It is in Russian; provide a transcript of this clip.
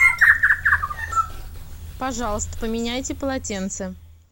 пожалуйста поменяйте полотенца